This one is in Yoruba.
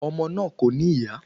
Ọmọ náà kò ní ìyá